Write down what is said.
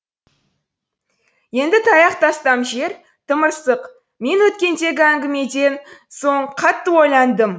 енді таяқ тастам жер тымырсық мен өткендегі әңгімеден соң қатты ойландым